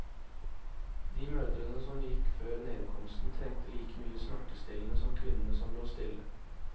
De mødrene som gikk før nedkomsten, trengte like mye smertestillende som kvinnene som lå stille.